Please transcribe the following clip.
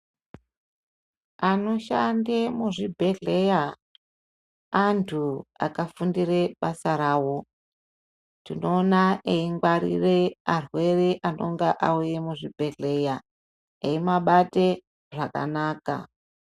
Anoshande muzvibhehlera antu anenge akafundira mabasa avo tinoona achingwarire arwere anenge auya muzvibhedhlera eimabate zvakanaka.